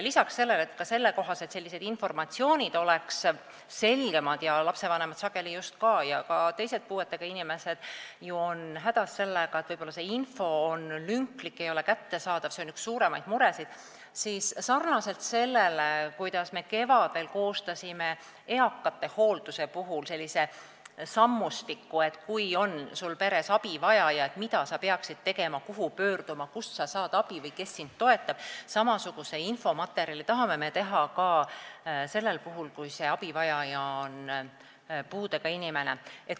Selleks, et selline info oleks selgem – sageli lastevanemad ja ka puudega inimesed on hädas sellega, et info on lünklik ega ole kättesaadav, see on üks suuremaid muresid –, me sarnaselt sellega, kuidas me kevadel koostasime eakate hoolduse kohta sellise sammustiku, et kui peres on abi vaja, mida sa peaksid tegema ja kuhu pöörduma, kust sa saad abi või kes sind toetab, tahame samasuguse infomaterjali teha selleks puhuks, kui abivajaja on puudega inimene.